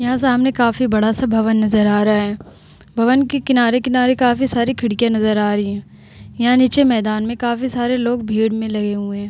यहाँ सामने काफी बड़ा सा भवन नजर आ रहा है। भवन के किनारे-किनारे काफी सारी खिड़कियां नजर आ रही हैं। यहाँ नीचे मैदान में काफी सारे लोग भीड़ में लगे हुए हैं।